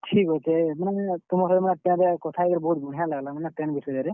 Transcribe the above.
ଠିକ୍ ଅଛେ, ମୁଇଁ ତମର୍ ସାଙ୍ଗେ train ରେ କଥା ହେଇକିନା ବହୁତ୍ ବଢିଆ ଲାଗ୍ ଲା ମାନେ train ବିଷୟରେ।